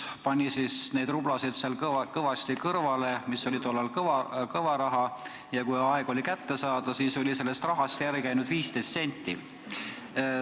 Ta pani neid rublasid ikka kõvasti kõrvale, see oli tollal suur raha, ja kui oli aeg raha kätte saada, siis oli sellest järel ainult 15 senti.